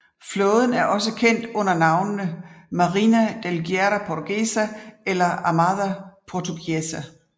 Flåden er også kendt under navnene Marinha de Guerra Portuguesa eller Armada Portuguesa